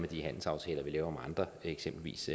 de handelsaftaler vi laver andre eksempelvis